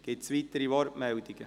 Gibt es weitere Wortmeldungen?